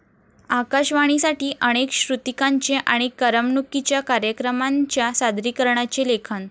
आकाशवाणीसाठी अनेक श्रुतिकांचे आणि करमणुकीच्या कार्यक्रमांच्या सादरीकरणाचे लेखन